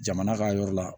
Jamana ka yɔrɔ la